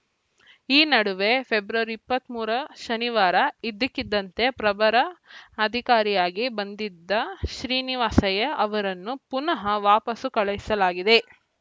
ಈ ನಡುವೆ ಫೆಬ್ರವರಿ ಇಪ್ಪತ್ತ್ ಮೂರ ಶನಿವಾರ ಇದ್ದಕ್ಕಿದ್ದಂತೆ ಪ್ರಭರ ಅಧಿಕಾರಿಯಾಗಿ ಬಂದಿದ್ದ ಶ್ರೀನಿವಾಸಯ್ಯ ಅವರನ್ನು ಪುನಃ ವಾಪಸ್ಸು ಕಳುಹಿಸಲಾಗಿದೆ